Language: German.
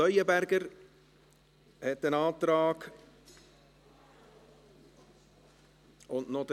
Leuenberger und Herr Riem haben noch Anträge.